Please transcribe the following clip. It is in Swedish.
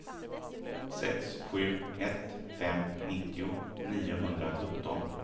sex sju ett fem nittio niohundrasjutton